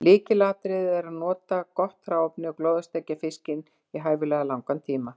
Lykilatriði er að nota gott hráefni og glóðarsteikja fiskinn í hæfilega langan tíma.